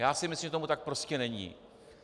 Já si myslím, že tomu tak prostě není.